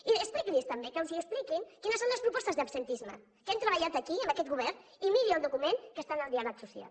i expliqui’ls també que els expliquin quines són les propostes d’absentisme que hem treballat aquí amb aquest govern i miri el document que està en el diàleg social